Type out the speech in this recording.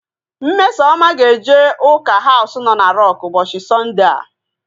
Mmesoma he-eje ụka Haus nọ na Rọk ụbọchị Sọndea